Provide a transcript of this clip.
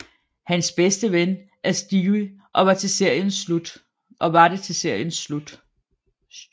Hans bedste ven er Stevie og var det til seriens slut